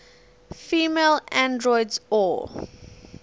female androids or